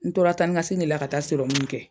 N tora taa ni ka segin la ka taa serɔmu min kɛ.